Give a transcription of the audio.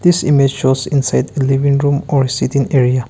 this image shows inside the living room or sitting area.